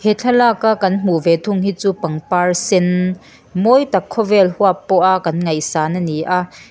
thlalaka kan hmuh ve thung hi chu pangpar sen mawi tak khawvel huap pawha kan ngaihsan a ni a.